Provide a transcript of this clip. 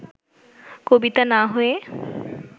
কবিতা না-হয়ে